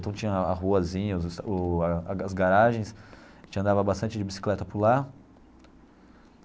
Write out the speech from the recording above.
Então tinha a ruazinhas, o as garagens, a gente andava bastante de bicicleta por lá.